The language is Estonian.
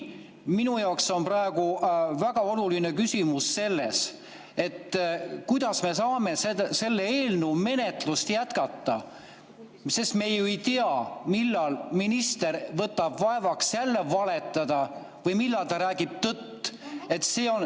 Minu jaoks on praegu väga oluline küsimus see, et kuidas me saame selle eelnõu menetlust jätkata, kui me ei tea, millal minister võtab vaevaks jälle valetada või millal ta räägib tõtt.